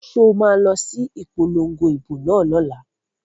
So ma lọ sí ìpolongo ìbò náà lọ́la?